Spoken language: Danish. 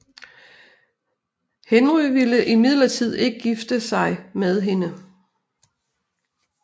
Henry vil imidlertid ikke gifte sig med hende